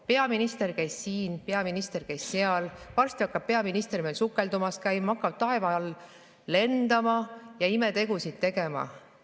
Peaminister käis siin ja peaminister käis seal, varsti hakkab peaminister ka sukeldumas käima, hakkab taeva all lendama ja imetegusid tegema.